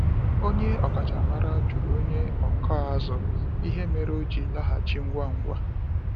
Onye ọkachamara jụrụ onye ọkụ azụ ihe mere o ji laghachi ngwa ngwa.